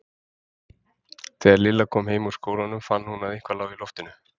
Þegar Lilla kom heim úr skólanum fann hún að eitthvað lá í loftinu.